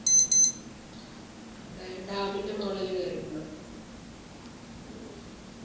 dam ൻ്റെ മുകളിൽ കേറീട്ടുണ്ടോ